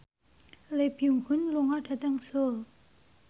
Lee Byung Hun lunga dhateng Seoul